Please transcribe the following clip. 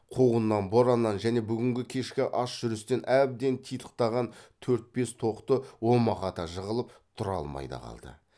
қуғыннан бораннан және бүгін кешкі аш жүрістен әбден титықтаған төрт бес тоқты омақата жығылып тұра алмай да қалды